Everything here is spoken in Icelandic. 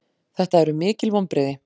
Þetta eru mikil vonbrigði.